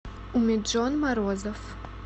миджон морозов